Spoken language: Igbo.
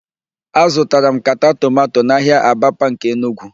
Azụtara m nkata tomanto n'ahịa Abapa nke Enugwu.